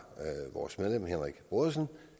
vores medlem henrik brodersen